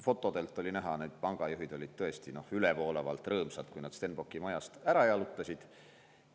Fotodelt oli näha, et pangajuhid olid tõesti ülevoolavalt rõõmsad, kui nad Stenbocki majast ära jalutasid.